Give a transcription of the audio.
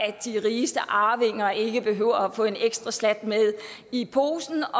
og at de rigeste arvinger ikke behøver at få en ekstra slat med i posen